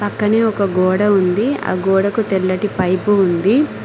పక్కనే ఒక గోడ ఉంది ఆ గోడకు తెల్లటి పైపు ఉంది.